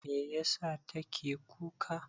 Meyasa take kuka?